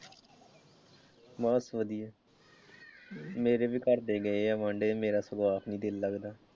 ਬਸ ਵਧੀਆ ਮੇਰੇ ਵੀ ਘਰਦੇ ਗਏ ਆ ਵਾਂਡੇ ਮੇਰਾ ਸਗੋਂ ਆਪ ਨਹੀਂ ਦਿਲ ਲਗਦਾ।